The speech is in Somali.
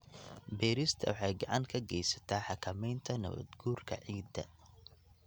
Beerista waxay gacan ka geysataa xakameynta nabaad guurka ciidda.